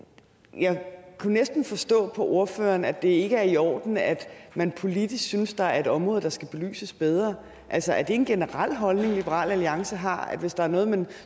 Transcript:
men jeg kunne næsten forstå på ordføreren at det ikke er i orden at man politisk synes at der er et område der skal belyses bedre altså er det en generel holdning liberal alliance har at hvis der er noget man